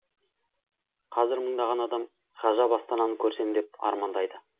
қазір мыңдаған адам ғажап астананы көрсем деп армандайды